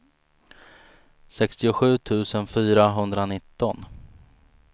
sextiosju tusen fyrahundranitton